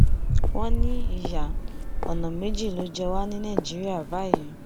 wọn ní ìyá ọnà méjì ló ń jẹ wá ní nàìjíríà báyìí